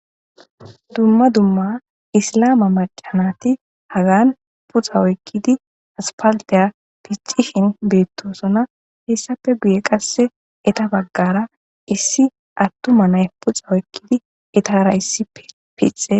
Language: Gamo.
Dumma dumma islaama macca naati hagani puxa oyqqidi aspaltiya pixxishin beettoosona. Hessappe guye qassi eta baggara issi attuma na7i puxa oykkidi etaara issippe pixxees.